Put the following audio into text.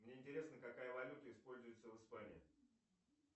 мне интересно какая валюта используется в испании